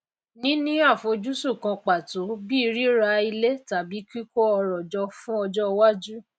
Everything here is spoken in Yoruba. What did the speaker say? níní àfojúsùn kan pàtó bíi ríra ilé tàbí kíkó ọrò jọ fún ọjó iwájú